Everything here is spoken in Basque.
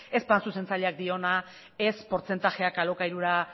ez da zuzentzaileak diona ez portzentajeak alokairura